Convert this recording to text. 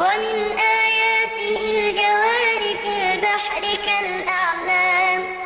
وَمِنْ آيَاتِهِ الْجَوَارِ فِي الْبَحْرِ كَالْأَعْلَامِ